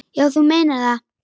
Já, þú meinar það.